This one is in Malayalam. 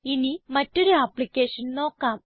ഇനി മറ്റൊരു ആപ്പ്ളിക്കേഷൻ നോക്കാം